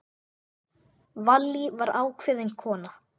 Vallý var ákveðin kona.